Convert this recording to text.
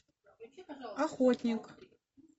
охотник